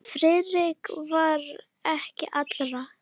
Friðrik var ekki allra.